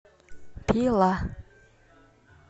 пила